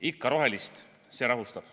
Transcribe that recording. Ikka rohelist, see rahustab.